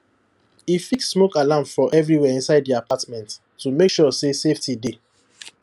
e fix smoke alarm for everywhere inside the apartment to make sure say safety dey